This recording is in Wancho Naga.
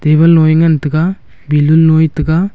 table loe ngan taiga balloon nue taiga.